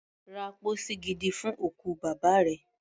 Ra pósí gidi fún òkú bàbá rẹ.